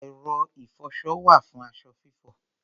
Ẹ̀rọ ìfọṣọ wà fún aṣọ fífọ̀.